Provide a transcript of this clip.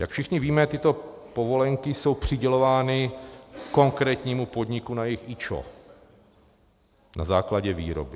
Jak všichni víme, tyto povolenky jsou přidělovány konkrétnímu podniku na jejich IČO na základě výroby.